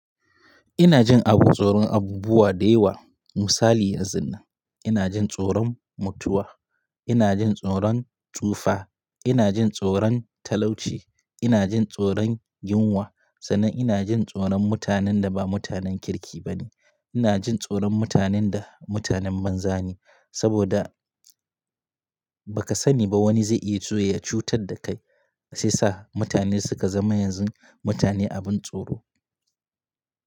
Ina jin abu tsoron abubuwa da yawa. Misali yanzun nan ina jin tsoron mutuwa, ina jin tsoron tsufa, ina jin tsoron talauci, ina jin tsoron yunwa, sannan ina jin tsoron mutanen da ba mutanen kirki ba ne. Ina jin tsoron mutanen da mutanen banza ne, saboda ba ka sani ba wani zai iya zuwa ya cutar da kai. Sai sa mutane suka zama yanzun mutane abin tsoro.